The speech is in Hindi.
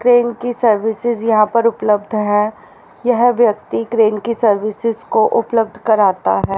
क्रेन की सर्विसेज यहां पर उपलब्ध है यह व्यक्ति क्रेन की सर्विसेज को उपलब्ध कराता है।